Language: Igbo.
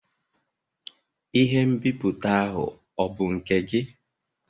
Ihe nbipute ahụ ọ bụ nke gị?